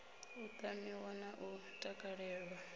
u tamiwa na u takalelwa